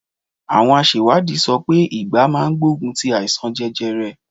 Àwọn àṣèwádìí sọ pé ìgbá máa gbogun ti àìsàn jẹjẹrẹ.